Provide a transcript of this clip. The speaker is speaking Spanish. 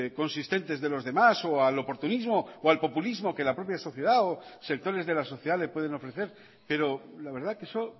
consistentes de los demás o al oportunismo o al populismo que la propia sociedad o sectores de la sociedad le pueden ofrecer pero la verdad que eso